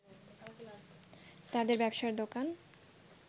তাদের ব্যবসার দোকান